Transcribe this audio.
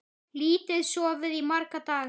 Lítið sofið í marga daga.